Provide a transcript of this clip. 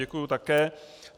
Děkuji také.